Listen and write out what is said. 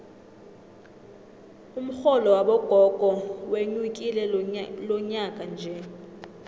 umxholo wabogogo wenyukile lonyakanje